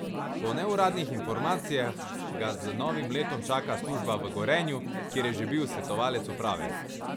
Po neuradnih informacijah ga z novim letom čaka služba v Gorenju, kjer je že bil svetovalec uprave.